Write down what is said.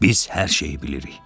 Biz hər şeyi bilirik.